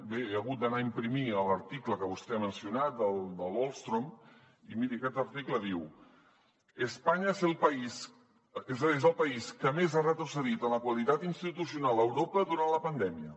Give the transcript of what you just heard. bé he hagut d’anar a imprimir l’article que vostè ha mencionat de l’ostrom i miri aquest article diu espanya és el país que més ha retrocedit en la qualitat institucional a europa durant la pandèmia